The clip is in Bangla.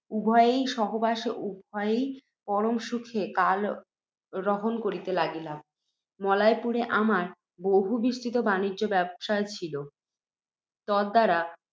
উভয়ের সহবাসে উভয়েই পরম সুখে কালহরণ করিতে লাগিলাম। মলয়পুরে আমার বহুবিস্তৃত বাণিজ্য ব্যবসায় ছিল, তদ্দ্বারা